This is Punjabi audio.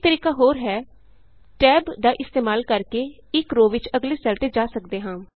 ਇਕ ਤਰੀਕਾ ਹੋਰ ਹੈ Tab ਦਾ ਇਸਤੇਮਾਲ ਕਰਕੇ ਇਕ ਰੋਅ ਵਿਚ ਅਗਲੇ ਸੈੱਲ ਤੇ ਜਾ ਸਕਦੇ ਹਾਂ